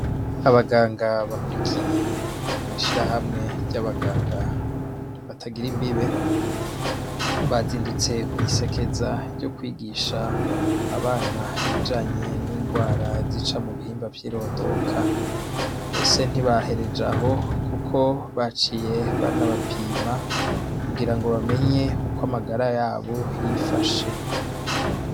Abaganga bahurikiye mwishira hamwe ry'abaganga batagira imbibe bazindutse mw'isekeza ryo kwigisha abana ibijanye n'ingwara z'ica mu bihimba vyirondoka mese ntibahereje aho, kuko baciye banabapiya ma kugira ngo bamenye uko amagara yabo yifashe.